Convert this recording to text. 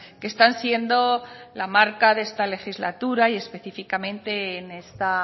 que están siendo la marca de esta legislatura y específicamente en esta